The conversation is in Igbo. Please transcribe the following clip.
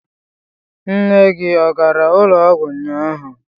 Nne gị ọ gara ụlọọgwụ ụnyaahụ?